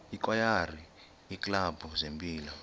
ikwayara iiklabhu zempilo